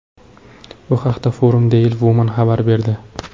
Bu haqda Forum Daily Woman xabar berdi.